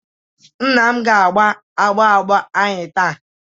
Nna m ga agba agba agba agba anyi taa.